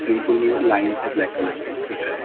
Shampoo भी है line से ब्लैक कलर के दिख रहा है।